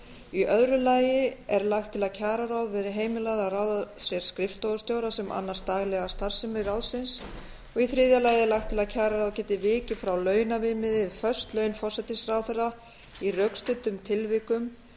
í öðru lagi er lagt til að kjararáð verði heimilað að ráða sér skrifstofustjóra sem annist daglega starfsemi ráðsins í þriðja lagi er lagt til að kjararáð geti vikið frá launaviðmiði við föst laun forsætisráðherra í rökstuddum tilvikum